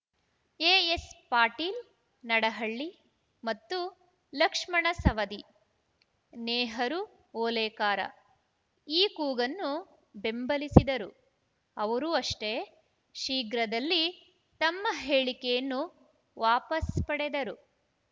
ಎಎಸ್‌ಪಾಟೀಲ್‌ ನಡಹಳ್ಳಿ ಮತ್ತು ಲಕ್ಷ್ಮಣ ಸವದಿ ನೇಹರು ಓಲೇಕಾರ ಈ ಕೂಗನ್ನು ಬೆಂಬಲಿಸಿದರು ಅವರು ಅಷ್ಟೇ ಶೀಘ್ರದಲ್ಲಿ ತಮ್ಮ ಹೇಳಿಕೆಯನ್ನು ವಾಪಸ್‌ ಪಡೆದರು